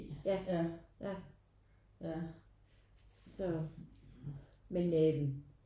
Ja ja så men øh